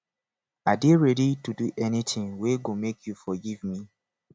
i dey ready to do anytin wey go make you forgive me